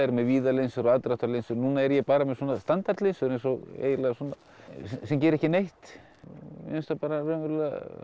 víða linsu og aðdráttarlinsu núna er ég bara með standard linsu sem gera ekki neitt mér finnst það raunverulega